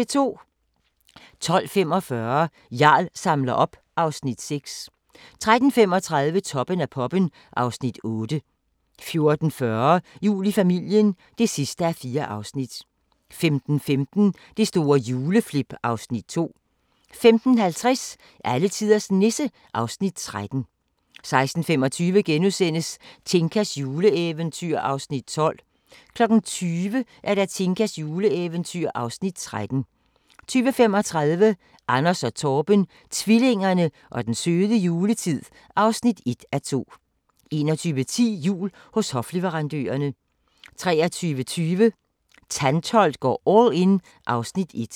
12:45: Jarl samler op (Afs. 6) 13:35: Toppen af poppen (Afs. 8) 14:40: Jul i familien (4:4) 15:15: Det store juleflip (Afs. 2) 15:50: Alletiders Nisse (Afs. 13) 16:25: Tinkas juleeventyr (Afs. 12)* 20:00: Tinkas juleeventyr (Afs. 13) 20:35: Anders & Torben – tvillingerne og den søde juletid (1:2) 21:10: Jul hos hofleverandørerne 23:20: Tantholdt går all in (Afs. 1)